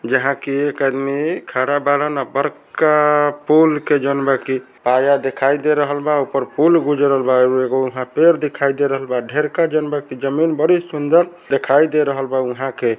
जहाँ के एक आदमी खड़ा बाड़न अ बड़का पूल के जौन बा की पाया दिखाई दे रहल बा ऊपर पूल गुजरल बा एगो-एगो पेड़ दिखाई दे रहल बा ढ़ेरका जौन बा की जमीन बड़ी सुंदर देखाई दे रहल बा उहा के।